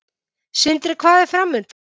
Sindri: Hvað er framundan?